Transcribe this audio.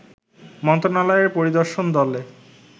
মন্ত্রনালয়ের পরিদর্শন দলে